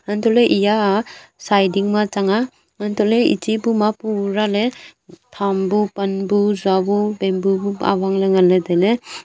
antole eyaa chaiding ma thanga antole echi puma pura ley phangbu panbu sabo bamboo buk abang ley ngan ley tailey.